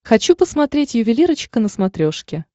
хочу посмотреть ювелирочка на смотрешке